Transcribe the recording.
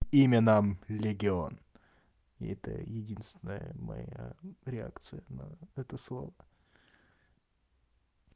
имя нам легион это единственная моя реакция на это слово